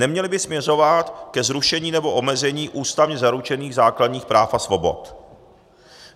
Neměly by směřovat ke zrušení nebo omezení ústavně zaručených základních práv a svobod.